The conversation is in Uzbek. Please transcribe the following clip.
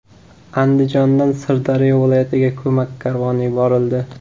Andijondan Sirdaryo viloyatiga ko‘mak karvoni yuborildi.